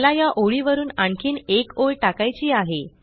मला या ओळीवरुन आणखीन एक ओळ टाकायची आहे